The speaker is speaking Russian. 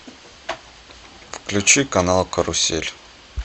включи канал карусель